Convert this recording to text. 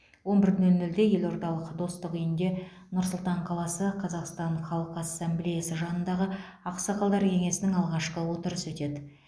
он бір нөл нөлде елордалық достық үйінде нұр сұлтан қаласы қазақстан халқы ассамблеясы жанындағы ақсақалдар кеңесінің алғашқы отырысы өтеді